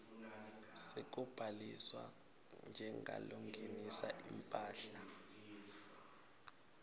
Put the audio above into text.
sekubhaliswa njengalongenisa imphahla